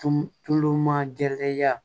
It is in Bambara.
Tun tulu ma gɛrɛ